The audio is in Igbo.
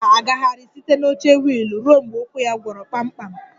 Ngozi ga-agagharị site na oche wiil ruo mgbe ụkwụ ya gwọrọ kpamkpam